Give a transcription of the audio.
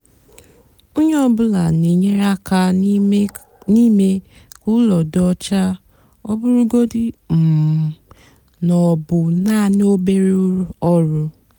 ónyé ọ bụlà nà-ènyere ákà n'ímé kà úló dị ọcha ọ bụrụgodị um ná ọ bụ nàání obere ọrụ.